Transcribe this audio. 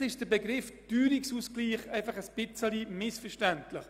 Vielleicht ist der Begriff «Teuerungsausgleich» auch einfach etwas missverständlich.